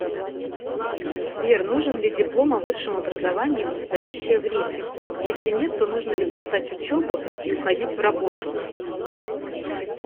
сбер нужен ли диплом о высшем образовании в настоящее время если нет то нужно ли бросать учебу и уходить в работу